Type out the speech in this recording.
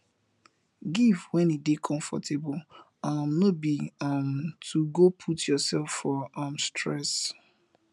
giv wen e dey comfortable um no bi um to go put urself for um stress